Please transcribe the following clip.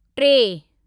टे